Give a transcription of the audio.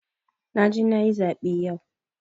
Na je na yi zaɓe yau.